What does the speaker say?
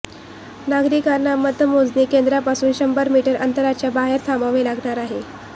नागरिकांना मतमोजणी केंद्रापासून शंभर मिटर अंतराच्या बाहेर थांबावे लागणार आहे